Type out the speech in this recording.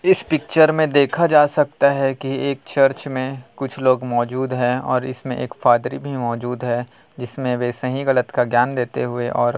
इस पिक्चर मे देखा जा सकता है की एक चर्च मे कुछ लोग मोजूद है और एक फादर भी मोजूद है जिसमे वे सही गलत का ज्ञान देते हुए और--